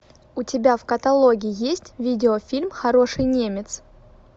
у тебя в каталоге есть видеофильм хороший немец